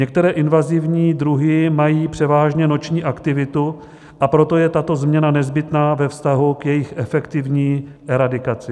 Některé invazivní druhy mají převážně noční aktivitu, a proto je tato změna nezbytná ve vztahu k jejich efektivní eradikaci.